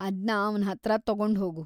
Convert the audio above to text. ಅದ್ನ ಅವ್ನ್ ಹತ್ರ ತಗೊಂಡ್ಹೋಗು.